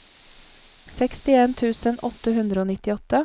sekstien tusen åtte hundre og nittiåtte